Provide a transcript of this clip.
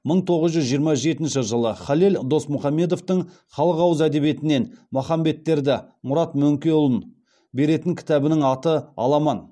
мың тоғыз жүз жиырма жетінші жылы халел досмұхамедовтің халық ауыз әдебиетінен махамбеттерді мұрат мөңкеұлын беретін кітабының аты аламан